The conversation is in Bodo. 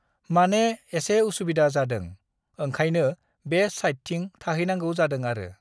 माने एसे उसुबिदा जादों, ओंखायनो बे साइडथिं थाहैनांगौ जादों आरो।